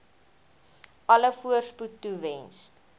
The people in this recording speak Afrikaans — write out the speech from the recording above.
alle voorspoed toewens